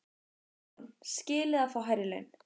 Hugrún: Skilið að fá hærri laun?